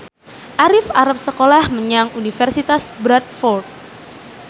Arif arep sekolah menyang Universitas Bradford